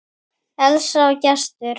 Elsa og Gestur.